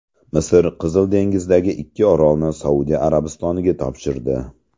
Misr Qizil dengizdagi ikki orolni Saudiya Arabistoniga topshirdi.